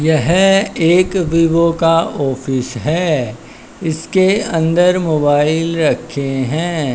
यह एक वीवो का ऑफिस है इसके अंदर मोबाइल रखे हैं।